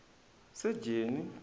sejeni